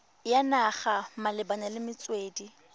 ya naga malebana le metswedi